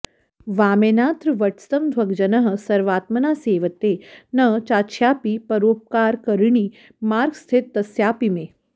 वामेनात्र वटस्तमध्वगजनः सर्वात्मना सेवते न च्छायापि परोपकारकरिणी मार्गस्थितस्यापि मे